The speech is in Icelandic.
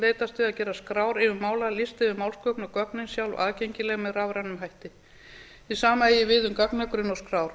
leitast við að gera skrár yfir málalista yfir málsgögn og gögnin sjálf aðgengileg með rafrænum hætti hið sama eigi við um gagnagrunn og skrár